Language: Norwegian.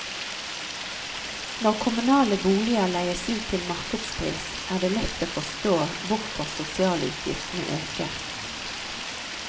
Når kommunale boliger leies ut til markedspris, er det lett å forstå hvorfor sosialutgiftene øker.